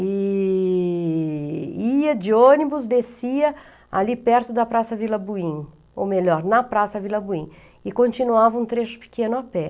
e ia de ônibus, descia ali perto da Praça Vila Buim, ou melhor, na Praça Vila Buim, e continuava um trecho pequeno a pé.